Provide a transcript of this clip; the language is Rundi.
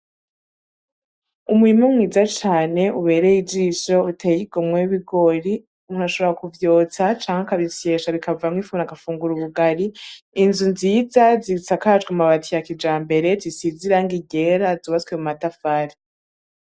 Umurima mwiza cane ubereye ijisho, uteye igomwe, w'ibigori. Umuntu ashobora kuvyotsa, canke akabisyesha bikavamwo ifu umuntu agafungura ubugari. Inzu nziza zisakajwe amabati ya kijambere, zisize irangi ryera, zubatswe mu matafari.